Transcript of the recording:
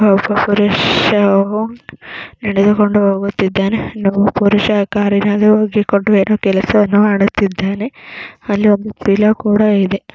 ಒಬ್ಬ ಪುರುಷ ನಡೆದುಕೊಂಡು ಹೋಗುತ್ತಿದ್ದಾನೆ. ಇನ್ನೊಬ್ಬ ಪುರುಷ ಕಾರಿನಲ್ಲಿ ಏನೋ ಕೆಲಸವನ್ನು ಮಾಡುತ್ತಿದ್ದಾನೆ. ಅಲ್ಲಿ ಒಂದು ಪಿಲ್ಲೋ ಕೂಡ ಇದೆ.